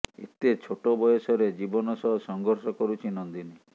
ଏତେ ଛୋଟ ବୟସରେ ଜୀବନ ସହ ସଂଘର୍ଷ କରୁଛି ନନ୍ଦିନୀ